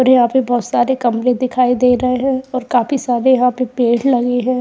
और यहां से बोहोत सारे कमरे दिखाई दे रहे हैं और काफी सारे यहाँ पे पेड़ लगे हैं।